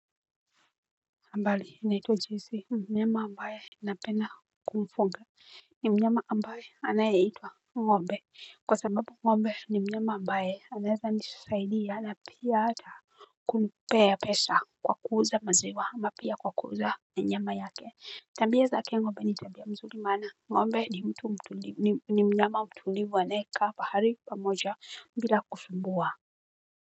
Habari ninaitwa joyce mnyama ambaye ninapenda kumfnga. Ni mnyama ambaye anayaita ng'ombe, kwa sababu ng'mbe ni mnyama ambaye anaweza nisaidia na pia ata kunipea pesa kwa kuuza maziwa ama pia kwa kuuza na nyama yake. Tabia zake ngombe ni tabia mzuri maana ng'ombe ni mtu mtulivu ni mnyama mtulivu anaekaa pahali pamoja bila kusumbua.